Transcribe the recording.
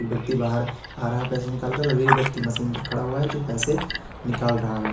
व्यक्ति बाहर आ रहा है पैसे निकाल कर और एक व्यक्ति मशीन पे खड़ा हुआ है जो पैसे निकाल रहा है।